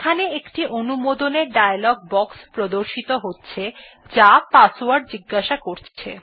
এখানে একটি অনুমোদনের ডায়লগ বক্স প্রদর্শিত হচ্ছে যা পাসওয়ার্ড জিজ্ঞাসা করছে